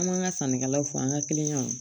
An m'an ka sannikɛlaw fɔ an ka kiliyanw